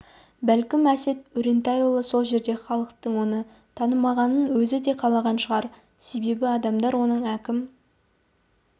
бәлкім әсет өрентайұлы сол жерде халықтың оны танымағанын өзі де қалаған шығар себебі адамдар оның әкім